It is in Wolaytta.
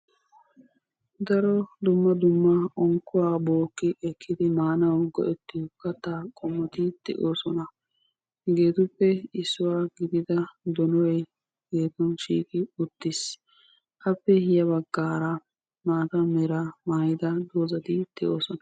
Daro dumma dumma unkuwa bokkidi ekkidi maanawu go'ettiyo katta qommoti de'osona. Hegettupe issuwa gidida donoy denban shiqqi uttis. Appe ya baggara maata meera maayida dozaati de'osona.